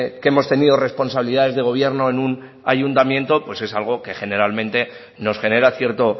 que hemos tenido responsabilidades de gobierno en una ayuntamiento pues es algo que generalmente nos genera cierto